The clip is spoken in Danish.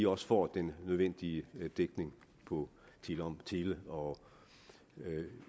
også får den nødvendige dækning på tele og